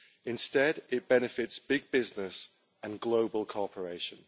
Instead it benefits big business and global cooperation.